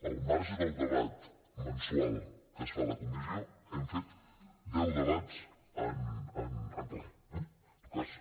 al marge del debat mensual que es fa a la comissió hem fet deu debats en ple eh en tot cas